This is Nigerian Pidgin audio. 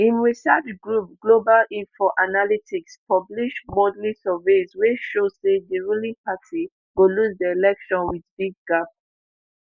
im research group global info analyticspublish monthly surveys wey show say di ruling party go lose di election wit big gap